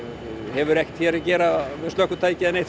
hefur ekkert hér að gera með slökkvitæki eða